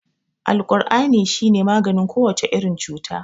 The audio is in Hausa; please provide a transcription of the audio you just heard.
Alkur'ani shi ne maganin kowace irin cuta.